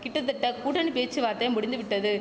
கிட்டத்தட்ட கூட்டணி பேச்சுவார்த்தை முடிந்துவிட்டது